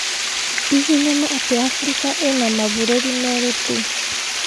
ĩ hihi nĩ ma atĩ Africa ĩna mabũrũri merĩ tũ